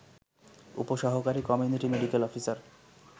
উপ সহকারী community medical officer